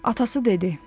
Atası dedi: